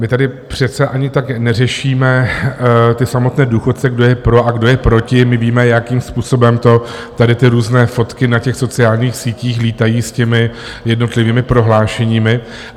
My tady přece ani tak neřešíme ty samotné důchodce, kdo je pro a kdo je proti, my víme, jakým způsobem to tady, ty různé fotky na těch sociálních sítích lítají s těmi jednotlivými prohlášeními.